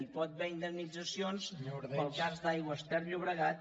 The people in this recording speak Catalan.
hi pot haver indemnitzacions pel cas d’aigües ter llobregat